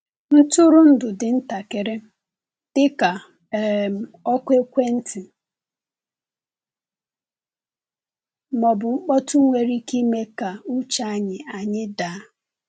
Ntụrụndụ dị ntakịrị — dịka um oku ekwentị ma ọ bụ mkpọtụ-nwere ike ime ka uche anyị anyị daa.